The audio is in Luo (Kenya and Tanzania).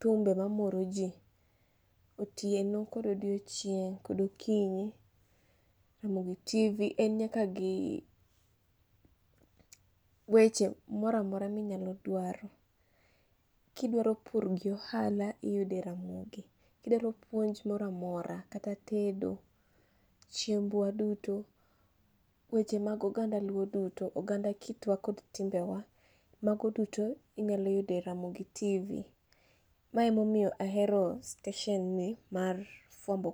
thumbe mamoro jii otieno kod odiochieng' kod okinyi, ramogi tv en nyaka gi weche mora mora minyalo dwaro. Kidwaro pur gi ohala, iyude e ramogi. Kidwa puonj mora mora kata deto chiembwa duto, weche mag oganda luo duto, oganda kitwa kod timbewa, mago duto inyalo yudo e ramogi tv. Ma emomiyo ahero steshon ni mar fuambo.